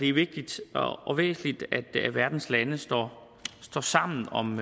er vigtigt og væsentligt at verdens lande står sammen om